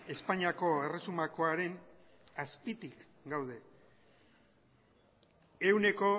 espainiako erresumakoaren azpitik gaude ehuneko